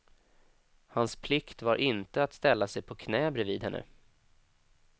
Hans plikt var inte att ställa sig på knä bredvid henne.